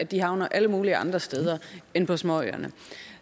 de havner alle mulige andre steder end på småøerne